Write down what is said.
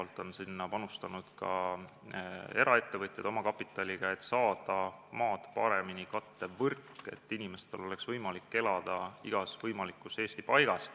Lisaks on sinna panustanud ka eraettevõtjad oma kapitali, et saada paremini maad kattev võrk, et inimestel oleks võimalik elada mis tahes Eestimaa paigas.